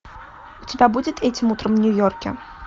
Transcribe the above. у тебя будет этим утром в нью йорке